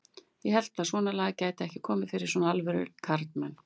Ég hélt að svonalagað gæti ekki komið fyrir svona alvöru karlmenn.